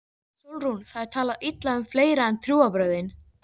SÓLRÚN: Það er talað illa um fleira en trúarbrögðin.